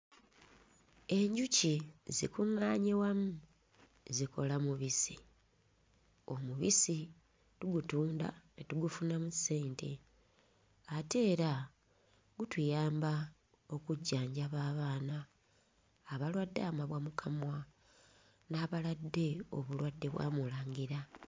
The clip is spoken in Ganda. Enjuki zikuŋŋaanye wamu zikola mubisi. Omubisi tugutunda ne tugufunamu ssente, ate era gutuyamba okujjanjaba abaana abalwadde amabwa mu kamwa n'abalwadde obulwadde bwa murangira.